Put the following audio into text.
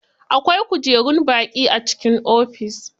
Akwai kujerun baƙi a cikin ofis.